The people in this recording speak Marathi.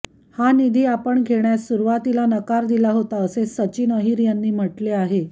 हा निधी आपण घेण्यास सुरूवातीला नकार दिला होता असे सचिन अहिर यांनी म्हटले आहे